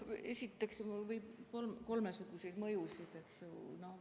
Esiteks võib olla kolmesuguseid mõjusid.